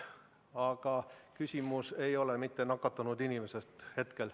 Aga küsimus ei ole hetke teadmise kohaselt nakatunud inimeses.